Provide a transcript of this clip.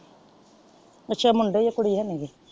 ਅੱਛਾ ਮੁੰਡੇ ਹੀ ਆ ਕੁੜੀ ਹੈ ਨਿਗਿ।